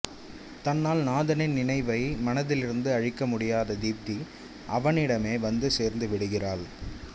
தன்னால் நாதனின் நினைவை மனதிலிருந்து அழிக்க முடியாத தீப்தி அவனிடமே வந்து சேர்ந்துவிடுகிறாள்